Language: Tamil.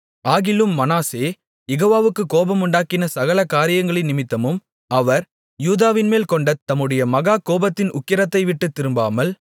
ஆகிலும் மனாசே யெகோவாவுக்குக் கோபமுண்டாக்கின சகல காரியங்களினிமித்தமும் அவர் யூதாவின்மேல் கொண்ட தம்முடைய மகா கோபத்தின் உக்கிரத்தை விட்டுத் திரும்பாமல்